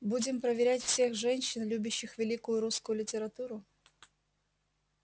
будем проверять всех женщин любящих великую русскую литературу